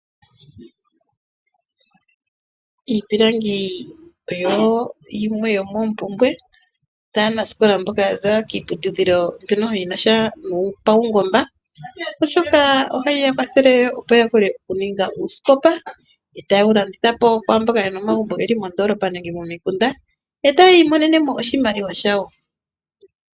Iipilangi oyo yimwe yomoompumbwe dhaanaskola mbono ya za kiiputudhilo mbyono yi na sha nopaungomba, oshoka ohayi ya kwathele, opo ya vule okuninga uusikopa, e taye wu landitha po kwaamboka ye na omagumbo ge li moondoolopa nenge momikunda, taya imonene mo oshimaliwa shawo.